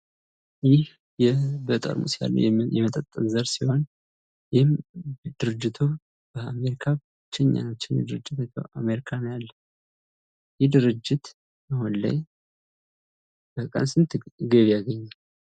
ይህ የ በጠርሙስ ያለ የመጠጥ ዘር ሲሆን ይህም ድርጅቱ በአሜሪካ ብቸኛ አምጪ፣ በአሜሪካ ነው ያለው። ይህ ድርጅት አሁን ላይ በቀን ስንት ገቢ ያገኛል?